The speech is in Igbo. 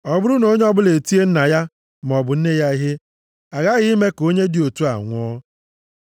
“Ọ bụrụ na onye ọbụla etie nna ya maọbụ nne ya ihe, a ghaghị ime ka onye dị otu a nwụọ.